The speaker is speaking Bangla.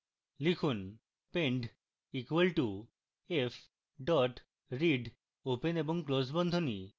লিখুন pend equal to f dot read open এবং close বন্ধনী